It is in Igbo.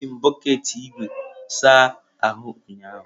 Eji m bọket ígwè saa ahụ ụnyahụ.